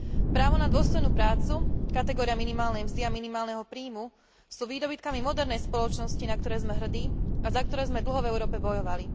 Právo na dôstojnú prácu, kategória minimálnej mzdy a minimálneho príjmu sú výdobytkami modernej spoločnosti, na ktoré sme hrdí a za ktoré sme dlho v Európe bojovali.